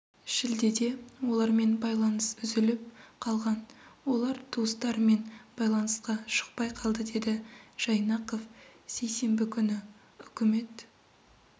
шілдеде олармен байланыс үзіліп қалған олар туыстарымен байланысқа шықпай қалды деді жайнақов сейсенбі күні үкімет